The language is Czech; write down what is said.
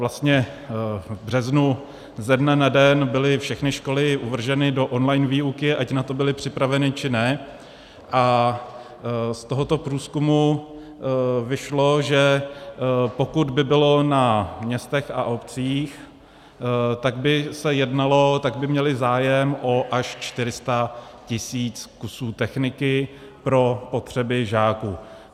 Vlastně v březnu ze dne na den byly všechny školy uvrženy do online výuky, ať na to byly připraveny, či ne, a z tohoto průzkumu vyšlo, že pokud by bylo na městech a obcích, tak by se jednalo, tak by měly zájem až o 400 tisíc kusů techniky pro potřeby žáků.